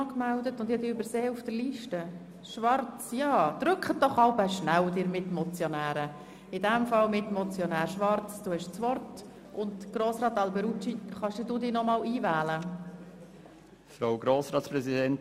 Ich werde nicht wiederholen, was Grossrat Knutti, Grossrätin Speiser und Grossrat Egger ausführlich dargelegt haben.